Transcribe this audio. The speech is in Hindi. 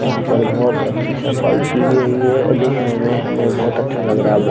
यहाँ पर बहुत अच्छी सफाई की गई है। देखने में हमें बहुत अच्छा लग रहा है वो।